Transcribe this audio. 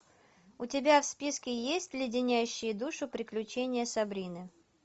у тебя в списке есть леденящие душу приключения сабрины